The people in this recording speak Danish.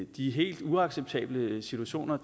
de helt uacceptable situationer